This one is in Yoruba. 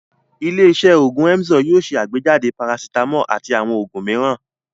Ilé-iṣẹ́ òògùn Emzor yóò ṣe àgbéjáde parasítámọ̀ àti àwọn òògùn mìíràn.